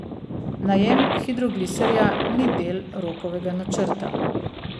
Najem hidrogliserja ni del Rokovega načrta.